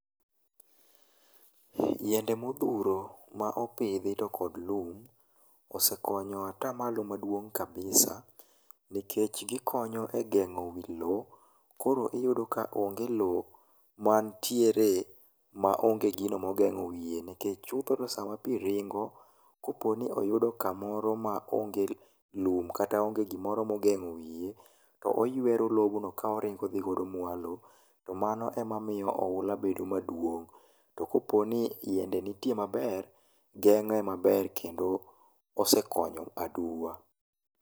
Yiende modhuro ma opidhi to kod lum osekonyo atamalo maduong' kabisa nikech gikonyo e geng'o wilo, koro iyudo ka onge lowo mantiere maonge gino mogeng'o wiye, nikech chopoga sama pi ringo, koponi oyudo kamoro maonge lum kata ongr gimoro mogeng'o wiye, to oyuwero lobno ka oringo odhi godo mwalo, to mano emamiyo oula bedo maduong'. To koponi yiende nitie maber, geng'e maber kendo osekonyo aduwa.